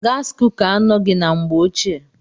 Gaasi kuka anoghi anọ na mgbe ochie.